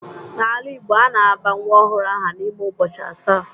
N'ala Igbo, a na-aba nwa ọhụrụ aha n'ime ụbọchị asaa